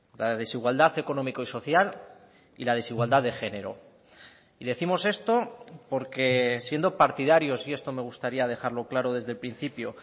la desigualdad económico y social y la desigualdad de género y décimos esto porque siendo partidarios y esto me gustaría dejarlo claro desde el principio